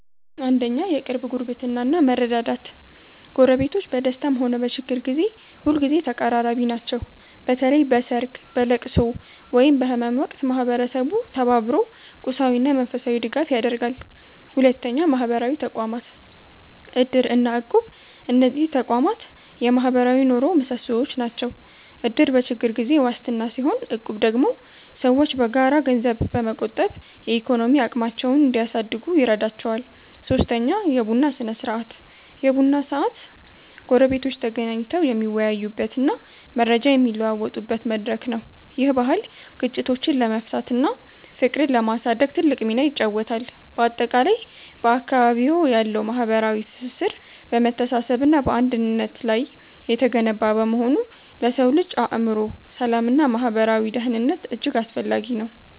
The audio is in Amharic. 1. የቅርብ ጉርብትና እና መረዳዳት ጎረቤቶች በደስታም ሆነ በችግር ጊዜ ሁልጊዜ ተቀራራቢ ናቸው። በተለይ በሰርግ፣ በልቅሶ ወይም በህመም ወቅት ማህበረሰቡ ተባብሮ ቁሳዊና መንፈሳዊ ድጋፍ ያደርጋል። 2. ማህበራዊ ተቋማት (እድር እና እቁብ) እነዚህ ተቋማት የማህበራዊ ኑሮው ምሰሶዎች ናቸው። እድር በችግር ጊዜ ዋስትና ሲሆን፣ እቁብ ደግሞ ሰዎች በጋራ ገንዘብ በመቆጠብ የኢኮኖሚ አቅማቸውን እንዲያሳድጉ ይረዳቸዋል። 3. የቡና ስነ-ስርዓት የቡና ሰዓት ጎረቤቶች ተገናኝተው የሚወያዩበትና መረጃ የሚለዋወጡበት መድረክ ነው። ይህ ባህል ግጭቶችን ለመፍታትና ፍቅርን ለማሳደግ ትልቅ ሚና ይጫወታል። ባጠቃላይ፣ በአካባቢዎ ያለው ማህበራዊ ትስስር በመተሳሰብና በአንድነት ላይ የተገነባ በመሆኑ ለሰው ልጅ የአእምሮ ሰላምና ማህበራዊ ደህንነት እጅግ አስፈላጊ ነው።